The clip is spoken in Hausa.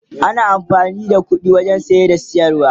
ana amfani da ƙuɗi wajen saye da siyarwa